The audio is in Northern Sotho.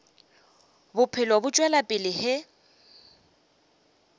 bophelo bo tšwela pele ge